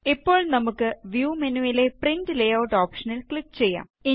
ഇപ്പോള് നമുക്ക് വ്യൂ മെനുവിലെ പ്രിന്റ് ലേയൂട്ട് ഓപ്ഷനില് ക്ലിക് ചെയ്യാം